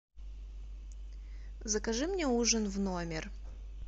закажи мне ужин в номер